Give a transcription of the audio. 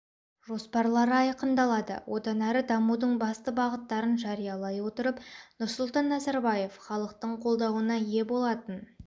жоспарлары айқындалады одан әрі дамудың басты бағыттарын жариялай отырып нұрсұлтан назарбаев халықтың қолдауына ие болатын